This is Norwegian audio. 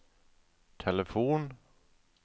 telefon